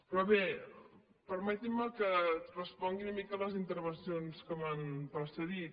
però bé permetin me que respongui una mica les intervencions que m’han precedit